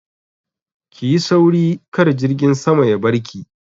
Ki yi sauri kar jirgin sama ya barki!